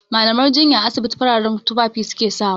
Mallaman jinya a asibiti fararen tufafi su ke sawa.